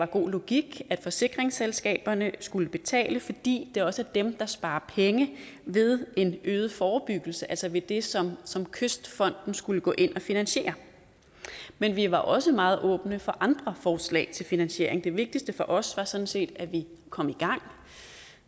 god logik at forsikringsselskaberne skulle betale fordi det også er dem der sparer penge ved en øget forebyggelse altså ved det som som kystfonden skulle gå ind at finansiere men vi var også meget åbne for andre forslag til finansiering det vigtigste for os var sådan set at vi kom i gang